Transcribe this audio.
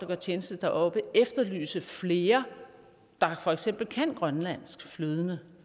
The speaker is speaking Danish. gør tjeneste deroppe efterlyse flere der for eksempel kan grønlandsk flydende